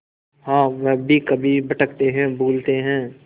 हाँ वह भी कभी भटकते हैं भूलते हैं